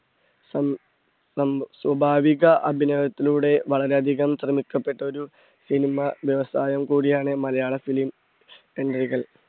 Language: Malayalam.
സ്വ~സ്വ~സ്വാഭാവിക അഭിനയത്തിലൂടെ വളരെ അധികം ക്കപ്പെട്ടൊരു cinema വ്യവസായം കൂടി ആണ് മലയാള film entry കൾ.